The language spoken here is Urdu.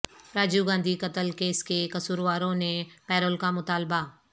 راجیو گاندھی قتل کیس کے قصورواروں نے پیرول کا مطالبہ